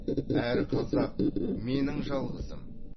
әр қазақ менің жалғызым